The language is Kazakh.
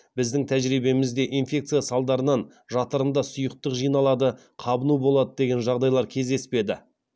біздің тәжірибемізде инфекция салдарынан жатырында сұйықтық жиналады қабыну болады деген жағдайлар кездеспеді